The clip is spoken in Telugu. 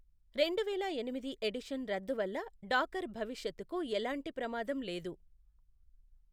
రెండువేల ఎనిమిది ఎడిషన్ రద్దు వల్ల డాకర్ భవిష్యత్తుకు ఎలాంటి ప్రమాదం లేదు.